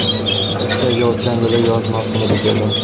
Rossiyaga o‘tgan yil yoz mavsumida keldim.